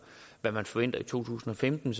hvad man forventer i to tusind og femten